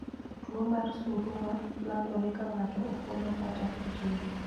Tuwo mar Surua landore ka ng'ato ofuolo kata ojir.